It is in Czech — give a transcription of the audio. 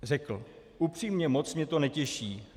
Řekl: "Upřímně, moc mě to netěší.